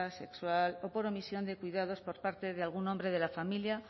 sexual o por omisión de cuidados por parte de algún hombre de la familia